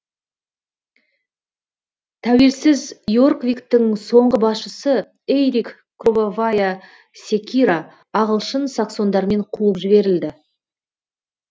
тәуелсіз йорквиктің соңғы басшысы эйрик кровавая секира ағылшын саксондармен қуып жіберілді